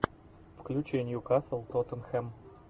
включи ньюкасл тоттенхэм